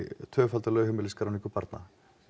tvöfalda lögheimilisskráningu barna